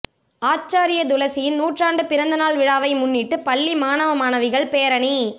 ஆச்சாரிய துளசியின் நூற்றாண்டு பிறந்த நாள் விழாவை முன்னிட்டு பள்ளி மாணவ மாணவிகள் பேரணி